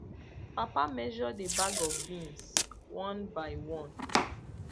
papa measure the bag of beans one by one